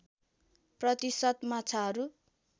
प्रतिशत माछाहरू